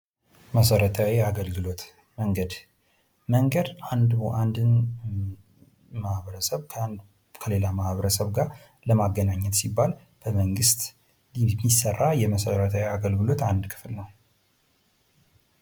መሰረታዊ አገልግሎት ። መንገድ ፡ መንገድ አንድን ማህበረሰብ ከሌላ ማህበረሰብ ጋር ለማገኛኘት ሲባል በመንግስት የሚሰራ የመሰረታዊ አገልግሎት አንድ ክፍል ነው ።